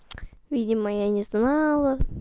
видимо я не знала